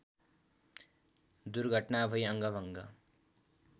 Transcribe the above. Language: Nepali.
दुर्घटना भै अङ्गभंग